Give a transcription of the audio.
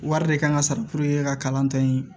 Wari de kan ka sara ka kalan tɛ yen